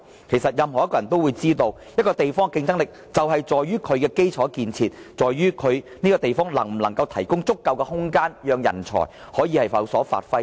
其實任何一個人也知道，一個地方的競爭力是在於其基礎建設，在於這個方面能否提供足夠的空間，讓人才可以有所發揮。